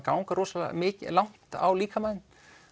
ganga rosalega mikið langt á líkamann þinn